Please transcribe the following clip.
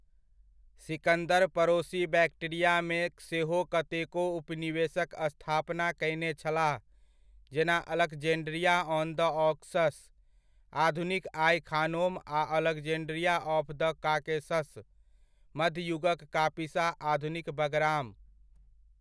सिकंदर पड़ोसी बैक्ट्रिया मे सेहो कतेको उपनिवेशक स्थापना कयने छलाह, जेना अलेक्ज़ेंड्रिया ऑन द ऑक्सस, आधुनिक आइ ख़ानोम आ अलेक्ज़ेंड्रिया ऑफ़ द कॉकेसस, मध्य युगक कापिसा, आधुनिक बगराम।